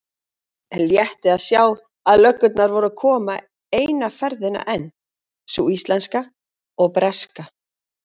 Létti að sjá að löggurnar voru að koma eina ferðina enn, sú íslenska og breska.